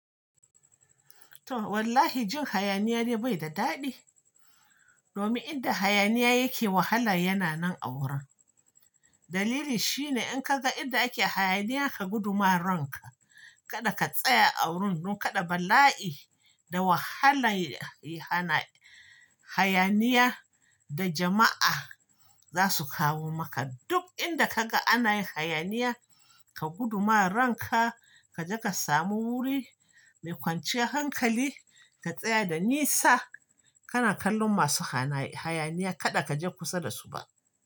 To wallahi jin hayaniya ne bai da daɗi. Domin inda hayaniya yake wahala yana nan a wurin. Dalili shine in ka ga inda ake hayaniya ka gudu ma ranka. Kadda ka tsaya a wurin don kaɗa bala'i da wahalan hayaniya da jama'a za su kawo maka. Duk inda kaga ana yin hayaniya, ka gudu ma ranka. Ka je ka samu wuri mai kwanciyar hankali ka tsaya da nisa. Kana kallon masu hayaniya kada ka je kusa da su ba.